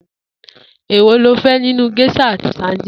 Èwo lo fé̩ nínú gés̩à àti sadíìnì?